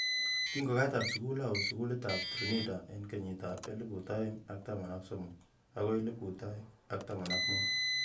Kingokatar sukul awe sukulit ab Trinidad eng kenyit ab elibu aeng ak taman ak somokakoi elibu aeng ak taman ak mut.